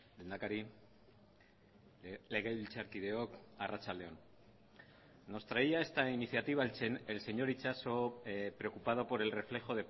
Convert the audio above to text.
lehendakari legebiltzarkideok arratsalde on nos traía esta iniciativa el señor itxaso preocupado por el reflejo